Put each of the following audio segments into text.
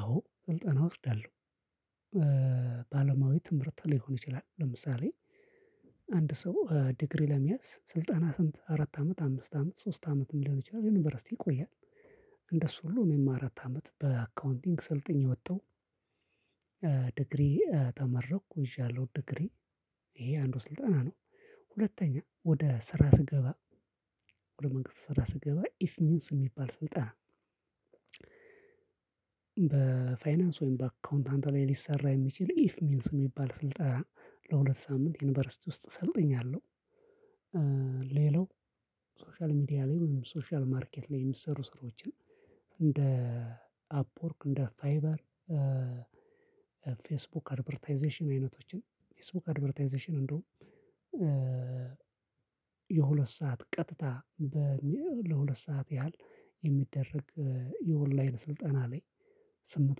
አዎ ስልጠና እወስዳለሁ። ባለማዊ ትምህርት ሊሆን ይችላል ለምሳሌ አንድ ሰው ዲግሪ ለመያዝ ስልጠና ስንት አራት አመት አምስት አመት ሶስት አመት ሊሆን ይችላል ዩኒቨርሲቲ ይቆያል። እንደሱ ሁሉ እኔም አራት አመት በአካውንቲንግ ሰልጠኜ ወጣው። ዲግሪ ተመረኩ ይዣለሁ ዲግሪ። ይሄ አንዱ ስልጠና ነው። ሁለተኛ ወደ ስራ ስገባ ወደ መንግስት ስራ ስገባ ኢፍ ኒንስ የሚባል ስልጣን። በፋይናንስ ወይም በአካውንታንት ላይ ሊሰራ የሚችል ኢፍ ሚንስ የሚባል ስልጣን ለሁለት ሳምንት ዩኒቨርሲቲ ውስጥ ሰልጥኛለሁ። ሌላው ሶሻል ሚዲያ ላይ ሁሉም ሶሻል ማርኬት ላይ የሚሰሩ ስራዎችን። እንደ አፕወርክ እንደ ፋይበር። ፌስቡክ አድቨርታይዜሽን አይነቶችን ፌስቡክ አድቨርታይዜሽን እንደውም። የሁለት ሰዓት ቀጥታ ለሁለት ሰዓት ያህል የሚደረግ የኦንላይን ስልጠና ላይ ስምንት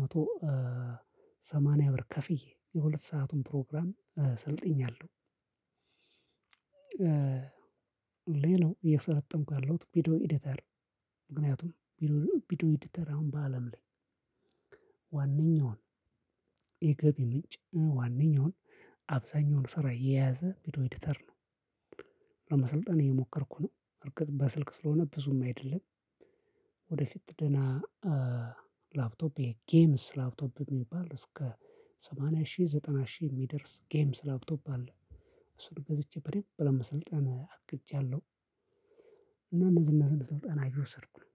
መቶ ሰማንያ ብር ከፍዬ የሁለት ሰአቱን ፕሮግራም ሰልጥኜያለሁ። ሌላው እየሰረለጠንኩ ያለሁት ቪዲዮ ኤዲተር። ምክንያቱም ቪዶ ቪዶ ኤዲተር አሁን በአለም ላይ ዋናውን የገቢ ምንጭ ዋናውን አብዛኛውን ስራ የያዘ ቪዲዮ ኤዲተር ነው። ለመሰልጠን እየሞከርኩ ነው እርግጥ በስልክ ስለሆነ ብዙም አይደለም። ወደፊት ደህና ላፕቶፕ የጌምስ ላፕቶፕ የሚባል እስከ ሰማንያ ሺህ ዘጠና ሺህ የሚደርስ ጌምስ ላፕቶፕ አለ። እሱን ገዝቼ በደንብ ለመሰልጠን አቅጃለሁ። እና እነዚህን እነዚህን ስልጣን እየወሰድኩ ነው